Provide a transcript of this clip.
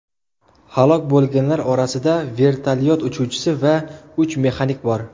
Halok bo‘lganlar orasida vertolyot uchuvchisi va uch mexanik bor.